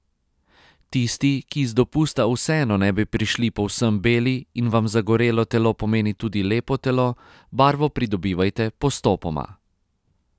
Tisti, ki iz dopusta vseeno ne bi prišli povsem beli in vam zagorelo telo pomeni tudi lepo telo, barvo pridobivajte postopoma.